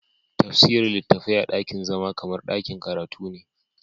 Tafsirin littafai a dakin zama kamar dakin karatu ne.